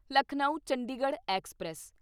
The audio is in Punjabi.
ਲਖਨਊ ਚੰਡੀਗੜ੍ਹ ਐਕਸਪ੍ਰੈਸ